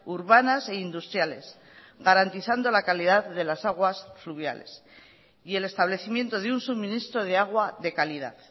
urbanas e industriales garantizando la calidad de las aguas fluviales y el establecimiento de un suministro de agua de calidad